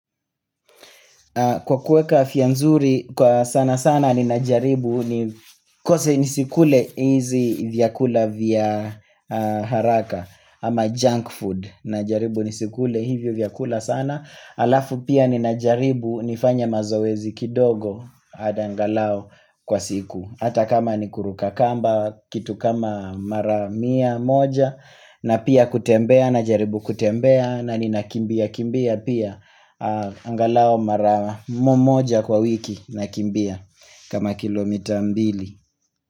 Kwa kueka afya nzuri, kwa sana sana ninajaribu, ni kose nisikule hizi vyakula vya haraka ama junk food, ninajaribu nisikule hivyo vyakula sana, alafu pia ninajaribu nifanye mazoezi kidogo angalao kwa siku. Hata kama ni kuruka kamba, kitu kama mara mia moja na pia kutembea, na jaribu kutembea, na ni nakimbia kimbia pia Angalao mara moja kwa wiki nakimbia kama kilomita mbili.